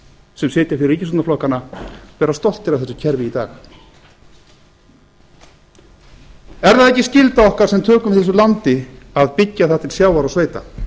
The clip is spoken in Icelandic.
sem sitja fyrir ríkisstjórnarflokkanna vera stoltir af þessu kerfi í dag er það ekki skylda okkar sem tökum við þessu landi að byggja það til sjávar og sveita